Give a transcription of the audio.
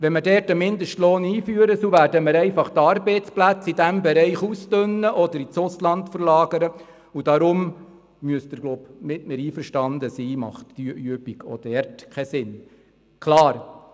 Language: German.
Wenn man dort einen Mindestlohn einführt, dann werden wir einfach die Arbeitsplätze in diesem Bereich ausdünnen oder ins Ausland verlagern, und deshalb müssen Sie, glaube ich, mit mir einverstanden sein, dass diese Übung auch dort keinen Sinn macht.